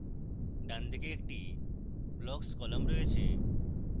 ডানদিকে একটি blocks column রয়েছে